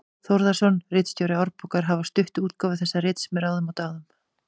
Þórðarson, ritstjóri Árbókar, hafa stutt útgáfu þessa rits með ráðum og dáð.